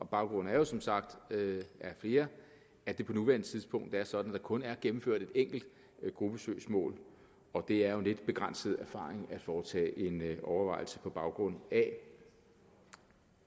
baggrunden er som sagt af flere at det på nuværende tidspunkt er sådan at der kun er gennemført et enkelt gruppesøgsmål og det er jo en lidt begrænset erfaring at foretage en overvejelse på baggrund af